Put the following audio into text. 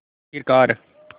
आख़िरकार